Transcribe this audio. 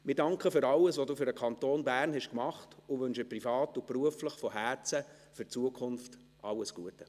Wir danken für alles, was Sie für den Kanton Bern gemacht haben, und wünschen privat und beruflich von Herzen für die Zukunft alles Gute.